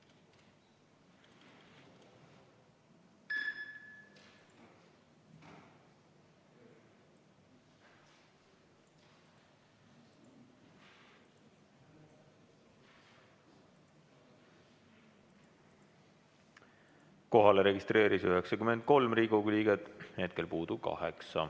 Kohalolijaks registreerus 93 Riigikogu liiget, puudub 8.